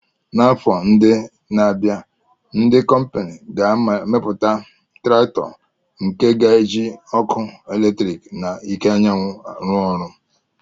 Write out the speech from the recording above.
N'afọ ndị na-abịa, ndị kọmpini ga-emepụta traktọ nke ga-eji ọkụ eletrik na iké anyanwụ ruọ ọrụ